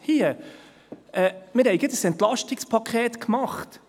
Wir haben gerade ein Entlastungspaket gemacht.